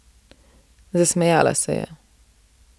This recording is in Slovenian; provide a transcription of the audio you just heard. Zasmejala se je.